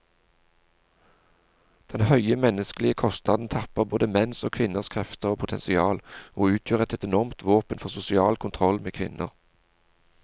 Denne høye menneskelige kostnaden tapper både menns og kvinners krefter og potensial, og utgjør et enormt våpen for sosial kontroll med kvinner.